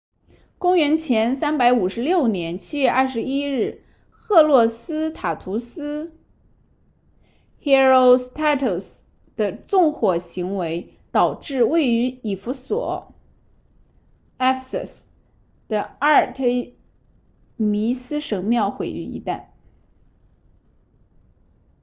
公元前356年7月21日赫洛斯塔图斯 herostratus 的纵火行为导致位于以弗所 ephesus 的阿尔忒弥斯神庙毁于一旦